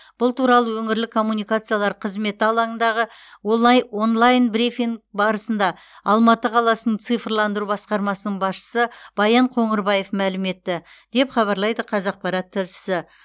бұл туралы өңірлік коммуникациялар қызметі алаңындағы олайн онлайн брифинг барысында алматы қаласының цифрландыру басқармасының басшысы баян қоңырбаев мәлім етті деп хабарлайды қазақпарат тілшісі